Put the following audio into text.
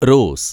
rose